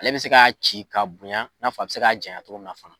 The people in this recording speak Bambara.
Ale bɛ se k'a ci ka bonya, i n'a fɔ a bi se k'a janya togo min na fana